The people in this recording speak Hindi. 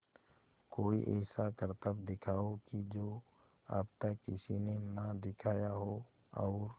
कोई ऐसा करतब दिखाओ कि जो अब तक किसी ने ना दिखाया हो और